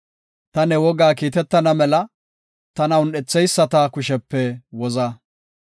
Ta ne wogaa kiitetana mela tana un7etheyisata kushepe woza.